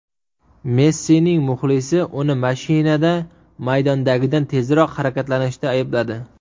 Messining muxlisi uni mashinada maydondagidan tezroq harakatlanishda aybladi .